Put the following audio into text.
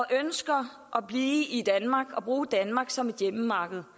ønsker at blive i danmark og bruge danmark som hjemmemarked